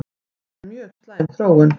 Þetta er mjög slæm þróun